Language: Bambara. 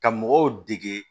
Ka mɔgɔw dege